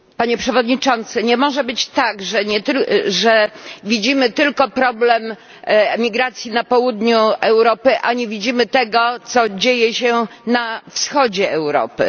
Panie Przewodniczący, nie może być tak, że widzimy tylko problem emigracji na południu Europy, a nie widzimy tego, co dzieje się na wschodzie Europy.